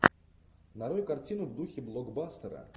нарой картину в духе блокбастера